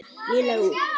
Hvert á að fara?